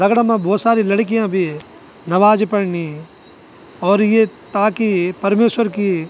दगड़ा मा भौत सारी लड़कीयाँ भी है। नमाज़ पड़नी और ये ताकी परमेश्वर की --